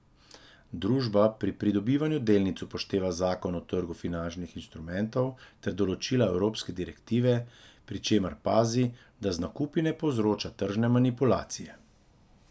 Družba pri pridobivanju delnic upošteva zakon o trgu finančnih instrumentov ter določila evropske direktive, pri čemer pazi, da z nakupi ne povzroča tržne manipulacije.